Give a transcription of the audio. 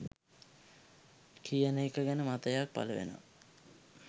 කියන එක ගැන මතයක් පලවෙනවා